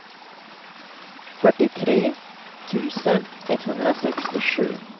fyrtiotre tusen etthundrasextiosju